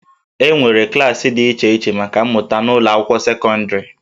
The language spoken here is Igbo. E nwere klaasị dị iche iche maka mmụta n'ụlọ akwụkwọ sekọndịrị